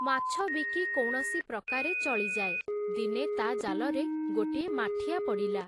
ମାଛ ବିକି କୌଣସି ପ୍ରକାରେ ଚଳିଯାଏ, ଦିନେ ତା ଜାଲରେ ଗୋଟିଏ ମାଠିଆ ପଡ଼ିଲା ।